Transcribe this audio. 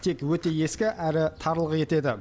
тек өте ескі әрі тарлық етеді